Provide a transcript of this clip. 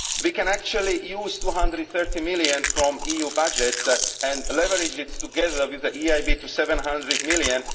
We can actually use EUR 230 million from the EU budget and leverage it, together with the EIB, to EUR 700 million.